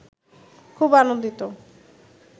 খুব আনন্দিত